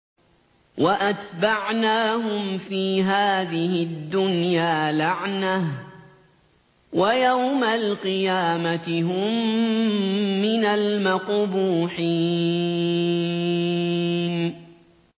وَأَتْبَعْنَاهُمْ فِي هَٰذِهِ الدُّنْيَا لَعْنَةً ۖ وَيَوْمَ الْقِيَامَةِ هُم مِّنَ الْمَقْبُوحِينَ